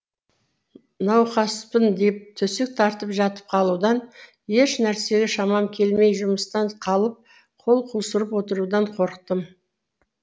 науқаспын деп төсек тартып жатып қалудан ешнәрсеге шамам келмей жұмыстан қалып қол қусырып отырудан қорықтым